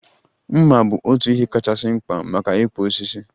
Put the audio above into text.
Mma bu otu ihe kachasị mkpa maka ịkpụ osisi